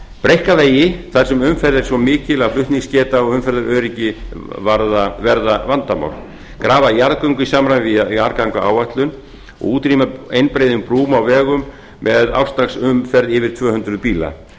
breikka vegi þar sem umferð er svo mikil að flutningsgeta og umferðaröryggi verðavanadmál grafa jarðganga í samræmi við jarðgangaáætlun og útrýma einbreiðum brúm á vegum með ársdagsumferð yfir tvö hundruð bíla